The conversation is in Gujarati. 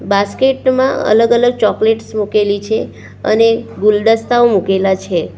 બાસ્કેટ માં અલગ અલગ ચોકલેટ્સ મૂકેલી છે અને ગુલદસ્તાઓ મુકેલા છે.